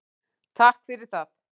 Takk fyrir það.